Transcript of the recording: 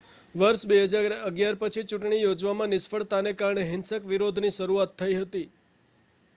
વર્ષ 2011 પછી ચૂંટણી યોજવામાં નિષ્ફળતાને કારણે હિંસક વિરોધની શરૂઆત થઈ હતી